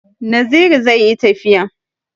Naziru zai yi tafiya